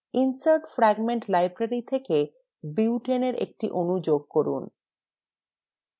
insert fragment library থেকে butaneএর একটি অণু ঢোকান